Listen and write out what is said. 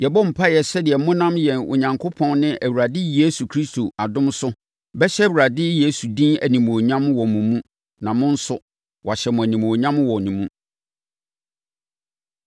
Yɛbɔ mpaeɛ sɛdeɛ monam yɛn Onyankopɔn ne Awurade Yesu Kristo adom so bɛhyɛ Awurade Yesu din animuonyam wɔ mo mu na mo nso, wɔahyɛ mo animuonyam wɔ ne mu.